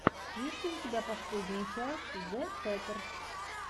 есть ли у тебя последняя часть зэ хэттерс